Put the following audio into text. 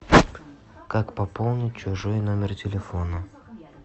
как пополнить чужой номер телефона